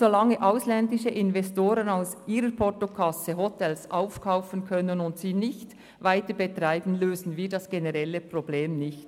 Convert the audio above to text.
Solange ausländische Investoren aus ihren Portokassen Hotels aufkaufen und diese nicht weiterbetreiben, lösen wir das generelle Problem nicht.